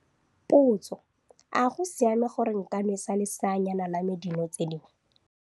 Potso - A go siame gore nka nwesa leseanyana la me dino tse dingwe?